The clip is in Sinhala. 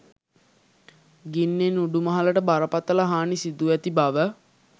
ගින්නෙන් උඩුමහලට බරපතළ හානි සිදුව ඇති බව